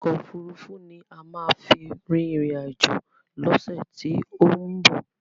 Ọkò òfurufú ni a máa fi rin ìrìn àjò lọ́sẹ̀ tí ó ń bọ̀.